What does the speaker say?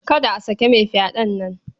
Kada a saki mai fyaɗen nan.